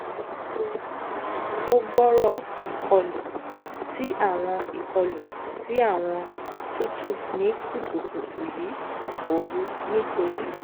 mo ti ni o gbooro ikolu ti awọn ikolu ti awọn tutu ni kutukutu yi ooru nitori